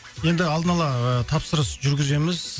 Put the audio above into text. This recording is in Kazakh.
енді алдын ала ыыы тапсырыс жүргіземіз